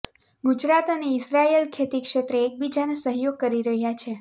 ગુજરાત અને ઇઝરાયલ ખેતી ક્ષેત્રે એકબીજાને સહયોગ કરી રહ્યાં છે